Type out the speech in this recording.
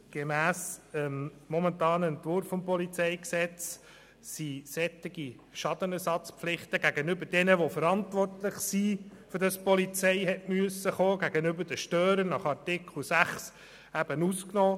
Gemäss dem momentanen Entwurf des PolG sind solche Schadenersatzpflichten gegenüber den Verantwortlichen für den Polizeieinsatz, die Störer nach Artikel 6, ausgenommen.